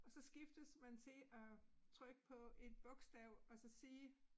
Og så skiftes man til at trykke på et bogstav og så sige